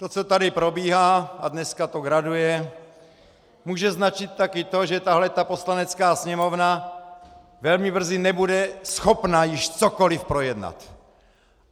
To, co tady probíhá - a dneska to graduje -, může značit taky to, že tahle ta Poslanecká sněmovna velmi brzy nebude schopna již cokoli projednat!